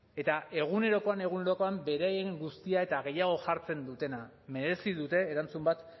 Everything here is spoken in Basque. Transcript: eta egunerokoan egunerokoan beraien guztia eta gehiago jartzen dutena merezi dute erantzun bat